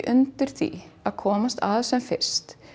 undir því að komast að sem fyrst